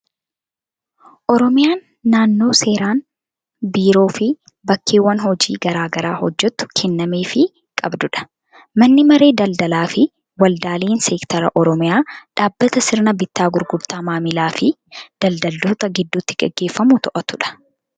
Oromiyaan naannoo seeraan biiroo fi bakkawwan hojii garaa garaa hojjettu kennameefii qabdudha. Manni Maree Daldalaa fi Waldaaleen Seekteraa Oromiyaa dhaabbata sirna bittaa gurgurtaa maamilaa fi daldaltoota gidduutti gaggeeffamuu to'atu dha.